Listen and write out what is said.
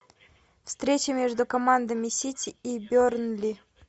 встреча между командами сити и бернли